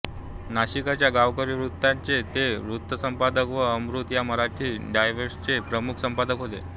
नाशिकच्या गावकरी वृत्तपत्राचे ते वृत्तसंपादक व अमृत या मराठी डायजेस्टचे प्रमुख संपादक होते